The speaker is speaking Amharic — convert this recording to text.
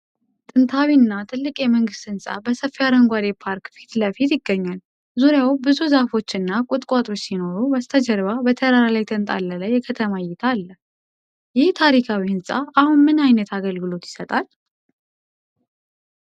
ጥንታዊ እና ትልቅ የመንግስት ሕንፃ በሰፊ አረንጓዴ ፓርክ ፊት ለፊት ይገኛል። ዙሪያው ብዙ ዛፎች እና ቁጥቋጦዎች ሲኖሩ፣ በስተጀርባ በተራራ ላይ የተንጣለለ የከተማ እይታ አለ። ይህ ታሪካዊ ሕንፃ አሁን ምን ዓይነት አገልግሎት ይሰጣል?